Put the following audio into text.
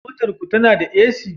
Motar ku tana da AC?